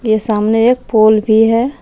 ये सामने एक पोल भी है।